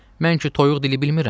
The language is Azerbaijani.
Mən ki toyuq dili bilmirəm.